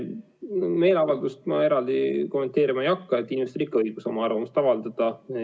Meeleavaldust ma eraldi kommenteerima ei hakka, inimestel on ikka õigus oma arvamust avaldada.